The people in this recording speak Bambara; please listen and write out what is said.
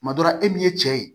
Kuma dɔ la e min ye cɛ ye